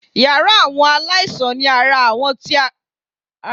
Yàrá àwọn aláìsàn ni àwọn tíara wọn kò bá dá máa ń sùn sí